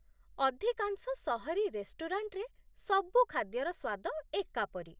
ଅଧିକାଂଶ ସହରୀ ରେଷ୍ଟୁରାଣ୍ଟରେ, ସବୁ ଖାଦ୍ୟର ସ୍ୱାଦ ଏକାପରି।